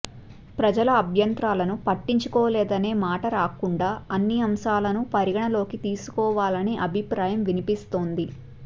ప్రజల అభ్యంతరాలను పట్టించుకోలేదనే మాట రాకుండా అన్ని అంశాలను పరిగణన లోకి తీసుకోవాలనే అభిప్రాయం వినిపిస్తోంది